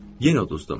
Yenə uduzdum.